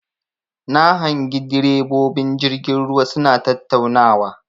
Na hangi ɗirebobin jirgin ruwa suna tattaunawa.